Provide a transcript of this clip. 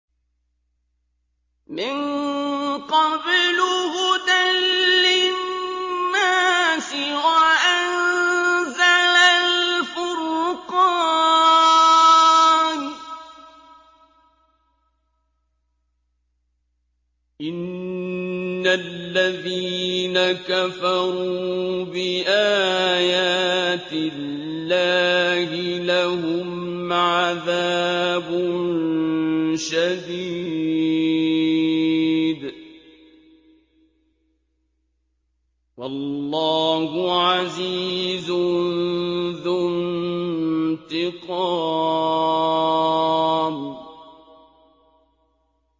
مِن قَبْلُ هُدًى لِّلنَّاسِ وَأَنزَلَ الْفُرْقَانَ ۗ إِنَّ الَّذِينَ كَفَرُوا بِآيَاتِ اللَّهِ لَهُمْ عَذَابٌ شَدِيدٌ ۗ وَاللَّهُ عَزِيزٌ ذُو انتِقَامٍ